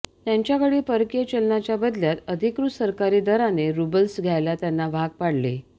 त्यांच्याकडील परकीय चलनाच्या बदल्यात अधिकृत सरकारी दराने रुबल्स घ्यायला त्यांना भाग पाडले